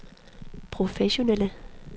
professionelle